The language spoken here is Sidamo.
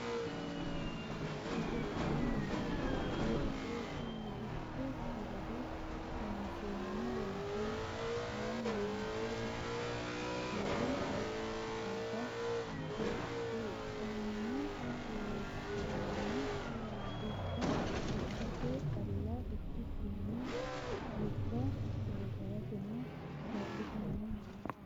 Itophiyu Malaatu Afii Roso Xagichu horore kayinseemmo wote hawa noonke ikkiri xagga huncuuc- cama woyyeessatenna dhibba hursate calla ikkikkinni dhibba gargarateno kaa’litannonke.